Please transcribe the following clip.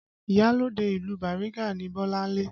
Iyalode ìlú Bariga ni Bolanle